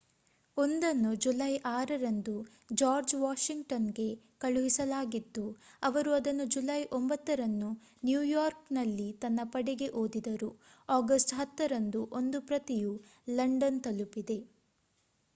ಒಂದನ್ನು ಜುಲೈ 6 ರಂದು ಜಾರ್ಜ್ ವಾಷಿಂಗ್ಟನ್‌ಗೆ ಕಳುಹಿಸಲಾಗಿದ್ದು ಅವರು ಅದನ್ನು ಜುಲೈ 9 ರಂದು ನ್ಯೂಯಾರ್ಕ್‌ನಲ್ಲಿ ತನ್ನ ಪಡೆಗೆ ಓದಿದರು. ಆಗಸ್ಟ್‌ 10 ರಂದು ಒಂದು ಪ್ರತಿಯು ಲಂಡನ್‌ ತಲುಪಿದೆ